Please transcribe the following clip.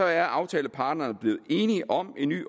er aftaleparterne blevet enige om en ny